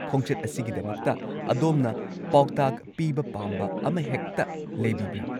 ꯈꯣꯡꯆꯠ ꯑꯁꯤꯒꯤꯗꯃꯛꯇ ꯑꯗꯣꯝꯅ ꯄꯥꯎꯇꯥꯛ ꯄꯤꯕ ꯄꯥꯝꯕ ꯑꯃꯍꯦꯛꯇ ꯂꯩꯕꯤꯕ꯭ꯔꯥ?